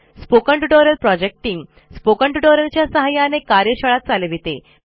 spoken tutorial project team spoken tutorial च्या सहाय्याने कार्यशाळा चालविते